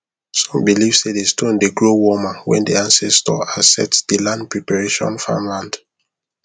some believe say the stone dey grow warmer when the ancestor accept the land preparation farmland